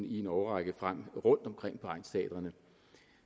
i en årrække frem rundtomkring på egnsteatrene